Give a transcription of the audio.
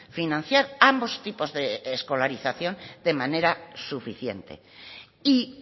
financiar ambos tipos de escolarización de manera suficiente y